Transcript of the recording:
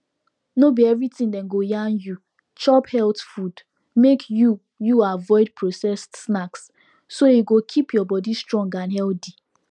no be everything dem go yarn you chop health food make you you avoid processed snacks so e go keep your body strong and healthy